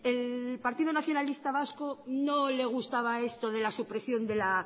el partido nacionalista vasco no le gustaba esto de la supresión